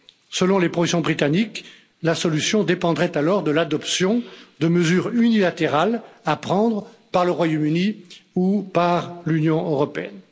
Selon les projections britanniques, la solution dépendrait alors de l'adoption de mesures unilatérales à prendre par le Royaume Uni ou par l'Union européenne.